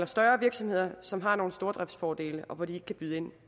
større virksomheder som har nogle stordriftsfordele og hvor de ikke kan byde ind